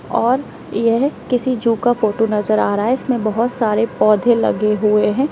और यह किसी जू का फोटो नजर आ रहा है इसमें बहुत सारे पौधे लगे हुए हैं।